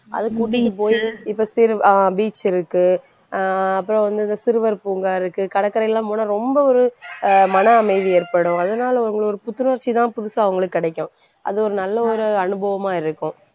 அது கூட்டிட்டு போயி இப்ப சிறுவ~ ஆஹ் beach இருக்கு அஹ் அப்புறம் வந்து இந்த சிறுவர் பூங்கா இருக்கு கடற்கரையெல்லாம் போனா ரொம்ப ஒரு அஹ் மனஅமைதி ஏற்படும். அதனால இன்னொரு புத்துணர்ச்சிதான் புதுசா அவங்களுக்கு கிடைக்கும். அது ஒரு நல்ல ஒரு அனுபவமா இருக்கும்.